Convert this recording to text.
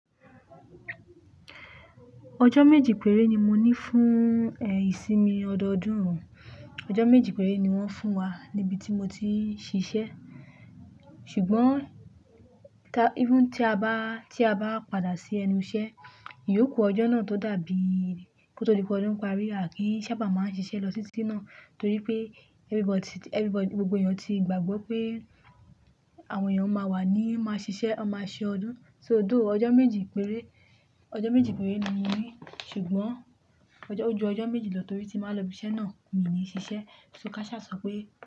Ọjọ́ méjì péré ni mo ní fún, ẹ̀, ìsinmi ọdọọdún. Ọjọ́ méjì péré ni wọ́n fún wa níbi tí mo ti ń ṣiṣẹ́. Ṣùgbọ́n, ta-- even tí a bá, tí a bá padà sí ẹnu iṣẹ́, yóò kú ọjọ́ náà tó dàbí, kó tó di pe ọdún parí, à kí sábà máa ń ṣiṣẹ́ lọ tití náà. Torí pé everybody, everybody, gbogbo ènìyàn ti gbàgbọ́ pé àwọn ènìyàn máa wà ní máa ṣiṣẹ́, a máa ṣe ọdún. So dó, ọjọ́ méjì péré, ọjọ́ méjì péré ni mo ní. Ṣùgbọ́n ọjọ́, ó ju ọjọ́ méjì lọ torí tí màá lọ ibi iṣẹ́ náà, mi ò ní ṣiṣẹ́. So káṣá sọ pé.